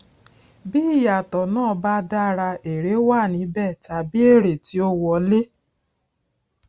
bí ìyàtọ náà ba dára èrè wà níbẹ tàbí èrè ti ó wọlé